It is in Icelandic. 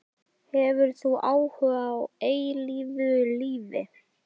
Hefur þú áhuga á eilífu lífi?